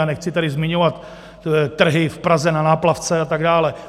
A nechci tady zmiňovat trhy v Praze na Náplavce a tak dále.